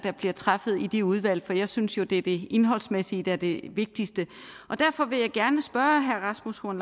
der bliver truffet i de udvalg for jeg synes jo at det er det indholdsmæssige der er det vigtigste derfor vil jeg gerne spørge herre rasmus horn